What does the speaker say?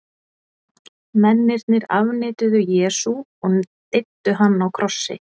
Mennirnir afneituðu Jesú og deyddu hann á krossi.